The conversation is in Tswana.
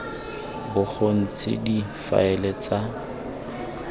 bo go ntse difaele tsa